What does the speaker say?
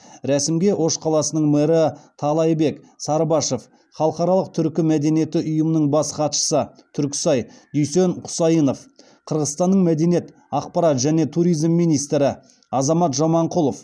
рәсімге ош қаласының мэрі таалайбек сарыбашов халықаралық түркі мәдениеті ұйымының бас хатшысы дүйсен қасейінов қырғызстанның мәдениет ақпарат және туризм министрі азамат жаманқұлов